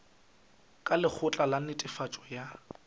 ka lekgotla la netefatšo ya